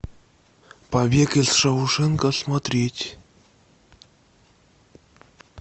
побег из шоушенка смотреть